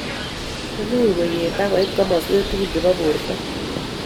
Imuche koyet ak koit kosmoswek tugul chebo borto